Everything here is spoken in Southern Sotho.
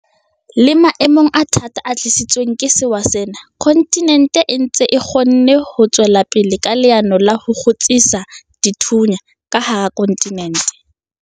Le maemong a thata a tlisitsweng ke sewa sena, kontinente e ntse e kgonne ho tswela pele ka leano la ho 'kgutsisa dithunya' ka hara kontinente.